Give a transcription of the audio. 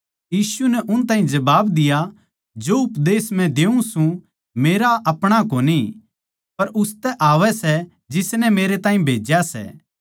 यीशु नै उन ताहीं जबाब दिया जो उपदेश मै देऊँ सूं मेरा अपणा कोनी पर उसतै आवै सै जिसनै मेरे ताहीं भेज्या सै